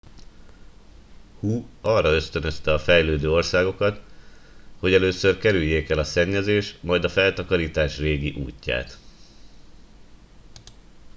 hu arra ösztönözte a fejlődő országokat hogy először kerüljék el a szennyezés majd a feltakarítás régi útját